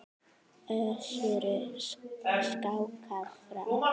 Össuri skákað fram.